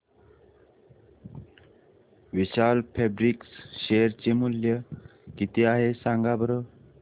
विशाल Fabrics share चे मूल्य किती आहे सांगा बरं